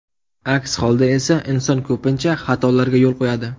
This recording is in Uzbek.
Aks holda esa, inson ko‘pincha xatolarga yo‘l qo‘yadi.